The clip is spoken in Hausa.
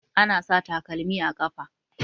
Ana sa takalmi a ƙafa.